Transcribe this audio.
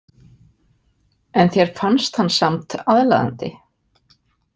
En þér fannst hann samt aðlaðandi.